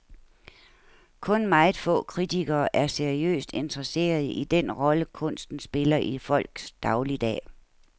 Kun meget få kritikere er seriøst interesserede i den rolle, kunsten spiller i folks dagligdag.